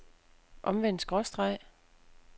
omvendt skråstreg